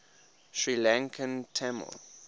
sri lankan tamil